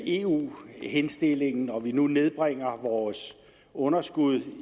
eu henstillingen og vi nu nedbringer vores underskud